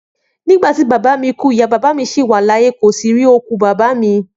Nígbàtí bàbá mí ku, ìyá bàbá mí sí wà láyé, kò sí rí òkú bàbá mí